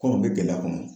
Kɔnɔ bɛ gɛlɛya kɔnɔ